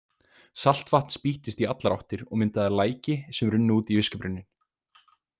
Saltvatn spýttist í allar áttir og myndaði læki sem runnu út í viskubrunninn.